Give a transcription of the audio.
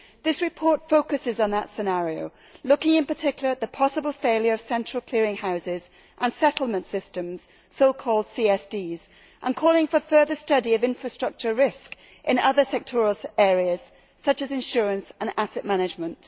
This report focuses on that scenario, looking in particular at the possible failure of central clearing houses and settlement systems so called CSDs and calling for further study of infrastructure risk in other sectoral areas, such as insurance and asset management.